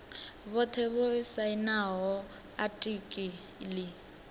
vhothe vho sainaho atiki ḽi